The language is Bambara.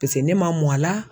ne ma mɔ a la